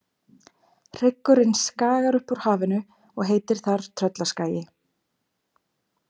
Hryggurinn skagar upp úr hafinu og heitir þar Tröllaskagi.